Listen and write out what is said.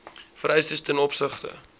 vereistes ten opsigte